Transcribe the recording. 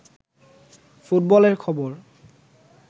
ফুটবলের খবর